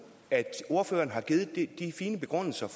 ordføreren har givet de fine begrundelser